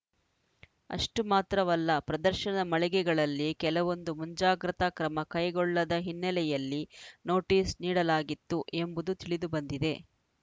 ಅಷ್ಟುಮಾತ್ರವಲ್ಲ ಪ್ರದರ್ಶನದ ಮಳಿಗೆಗಳಲ್ಲಿ ಕೆಲವೊಂದು ಮುಂಜಾಗೃತ ಕ್ರಮ ಕೈಗೊಳ್ಳದ ಹಿನ್ನೆಲೆಯಲ್ಲಿ ನೋಟಿಸ್‌ ನೀಡಲಾಗಿತ್ತು ಎಂಬುದು ತಿಳಿದು ಬಂದಿದೆ